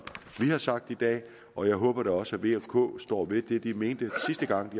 vi har sagt i dag og jeg håber da også at v og k står ved det de mente sidste gang